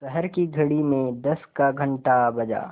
शहर की घड़ी में दस का घण्टा बजा